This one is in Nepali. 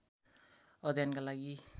अध्ययनका लागि